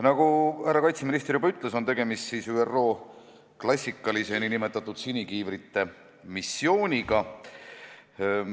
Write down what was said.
Nagu härra kaitseminister juba ütles, on tegemist ÜRO klassikalise nn sinikiivrite missiooniga.